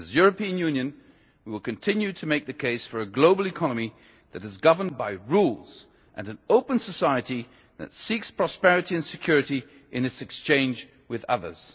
As the European Union, we will continue to make the case for a global economy that is governed by rules, and an open society that seeks prosperity and security in its exchange with others.